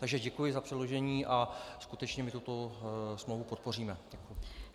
Takže děkuji za předložení a skutečně my tuto smlouvu podpoříme.